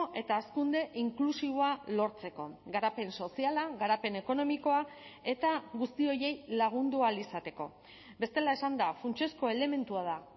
eta hazkunde inklusiboa lortzeko garapen soziala garapen ekonomikoa eta guzti horiei lagundu ahal izateko bestela esanda funtsezko elementua da